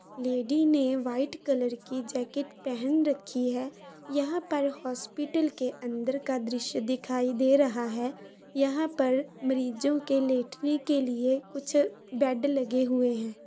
Lady ने white colour की jacket पहन रखी है यहां पर हॉस्पिटल के अंदर का दृश्य दिखाई दे रहा है यहां पर मरीजो के लेटने के लिए कुछ बेड लगे हुए हैं।